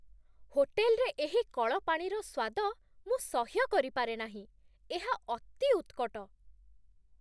ହୋଟେଲରେ ଏହି କଳ ପାଣିର ସ୍ୱାଦ ମୁଁ ସହ୍ୟ କରିପାରେନାହିଁ, ଏହା ଅତି ଉତ୍କଟ।